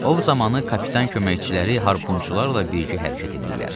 Ov zamanı kapitan köməkçiləri harpunçularla birgə hərəkət eləyirlər.